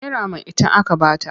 Naira maitan aka ba ta.